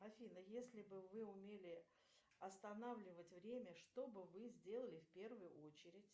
афина если бы вы умели останавливать время что бы вы сделали в первую очередь